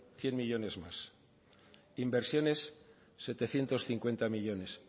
cien millónes más inversiones setecientos cincuenta millónes